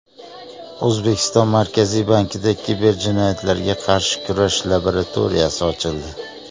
O‘zbekiston Markaziy bankida kiberjinoyatlarga qarshi kurash laboratoriyasi ochildi.